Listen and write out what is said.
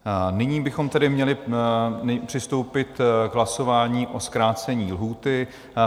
Nyní bychom tedy měli přistoupit k hlasování o zkrácení lhůty.